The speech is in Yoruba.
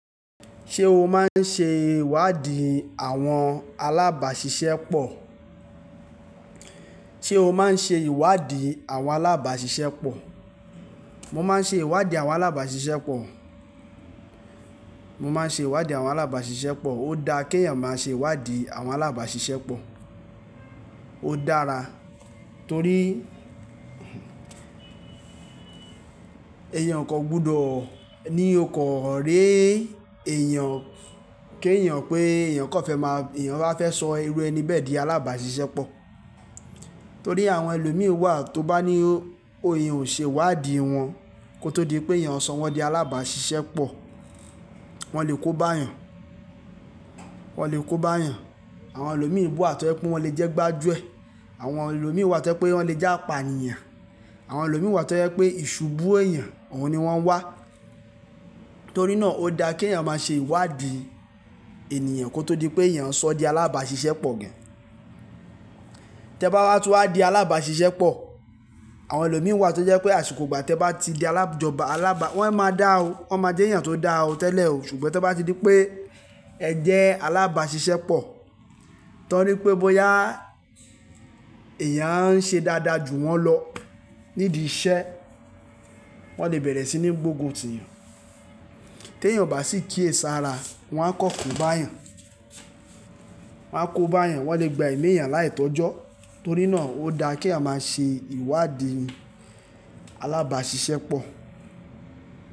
Ṣé o máa ń ṣe ìwádìí àwọn alábàáṣiṣẹ́ pọ̀? Ṣé o máa ń ṣe ìwádìí àwọn alábàáṣiṣẹ́ pọ̀? Mo máa ń ṣe ìwádìí àwọn alábàáṣiṣẹ́ pọ̀. Mo máa ń ṣe ìwádìí àwọn alábàáṣiṣẹ́ pọ̀. Ó da kí èèyàn máa ṣe ìwádìí àwọn alábàáṣiṣẹ́ pọ̀. Ó dára torí èèyàn kò gbọdọ̀ ní ọkọ̀ ré èèyàn, kí èèyàn pé èèyàn kò fẹ́ máa, èèyàn bá fẹ́ sọ irú ẹni bẹ́ẹ̀ di alábàáṣiṣẹ́ pọ̀. Torí àwọn ẹlòmíràn wà tó bá ní ó, òhìn ò ṣe ìwádìí wọn kó tó di pé èèyàn sọ wọ́n di alábàáṣiṣẹ́ pọ̀. Wọ́n lè kó bá èèyàn. Wọ́n lè kó bá èèyàn. Àwọn ẹlòmíràn wà tó jẹ́ pé wọ́n lè jẹ́ gbájú ẹ̀. Àwọn ẹlòmíràn wà tó jẹ́ pé wọ́n lè jẹ́ apànìyàn. Àwọn ẹlòmíràn wà tó jẹ́ pé ìṣubú èèyàn, òun ni wọ́n wá. Torí náà ó da kí èèyàn máa ṣe ìwádìí ènìyàn kó tó di pé èèyàn sọ ọ́ di alábàáṣiṣẹ́ pọ̀ gan. Tẹ bá wá tú á di alábàáṣiṣẹ́ pọ̀, àwọn ẹlòmíràn wà tó jẹ́ pé àsùkọ̀gbà tẹ bá ti di alájọba alábà, wọ́n máa dá ọ. Wọ́n máa jẹ́ èèyàn tó dá ọ tẹ́lẹ̀ ò. Ṣùgbọ́n tí ẹ bá ti di pé ẹ̀ jẹ́ alábàáṣiṣẹ́ pọ̀, torí pé bóyá èèyàn ń ṣe dáadáa ju wọ́n lọ nídi iṣẹ́, wọ́n lè bẹ̀rẹ̀ sí ní gbógun tì yàn. Tí èèyàn ò bá sì kíyèsára, wọ́n á kọ́ ko bá èèyàn. Wọ́n á kó bá èèyàn. Wọ́n lè gba emí èèyàn láì tọ́jọ́. Torí náà ó da kí à máa ṣe ìwádìí alábàáṣiṣẹ́ pọ̀.